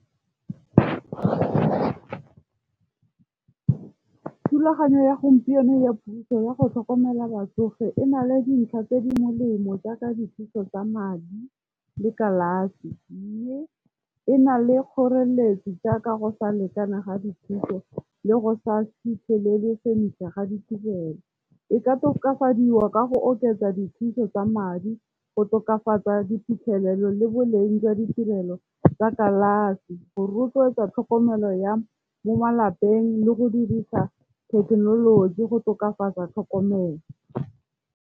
Thulaganyo ya gompieno ya puso ya go tlhokomela batsofe e na le dintlha tse di molemo jaaka dithuso tsa madi le kalafi. Mme e na le kgoreletsi jaaka go sa lekana ga dithuso le go sa fitlhelele sentle ga ditirelo. E ka tokafadiwa ka go oketsa dithuso tsa madi, go tokafatsa diphitlhelelo le boleng jwa ditirelo tsa kalafi, go rotloetsa tlhokomelo ya mo malapeng le go dirisa thekenoloji go tokafatsa tlhokomelo.